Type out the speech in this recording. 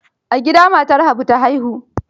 A gida matar Habu ta haihu?